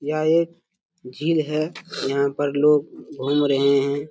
यहा एक झील है यहा पे लोग घूम रहे है।